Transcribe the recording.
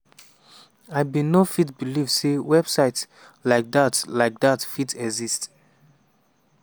i bin no fit believe say website like dat like dat fit exist.